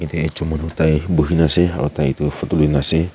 ekjon manu tai bohina ase aru tai tu photo loi na ase.